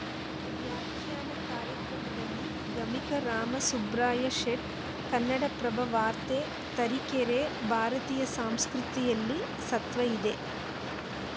ವ್ಯಾಖ್ಯಾನ ಕಾರ್ಯಕ್ರಮದಲ್ಲಿ ಗಮಕಿ ರಾಮ ಸುಬ್ರಾಯ ಶೇಟ್‌ ಕನ್ನಡಪ್ರಭ ವಾರ್ತೆ ತರೀಕೆರೆ ಭಾರತೀಯ ಸಂಸ್ಕೃತಿಯಲ್ಲಿ ಸತ್ವ ಇದೆ